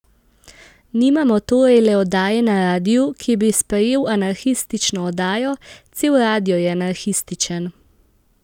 Nimamo torej le oddaje na radiu, ki bi sprejel anarhistično oddajo, cel radio je anarhističen.